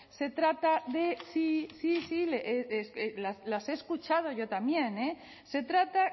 se trata de sí sí las he escuchado yo también eh se trata